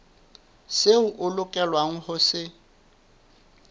seo o lokelang ho se